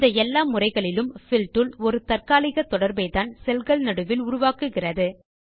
இந்த எல்லா முறைகளிலும் பில் டூல் ஒரு தற்காலிக தொடர்பைத்தான் செல் கள் நடுவில் உருவாக்குகிறது